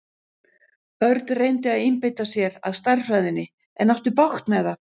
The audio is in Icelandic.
Örn reyndi að einbeita sér að stærðfræðinni en átti bágt með það.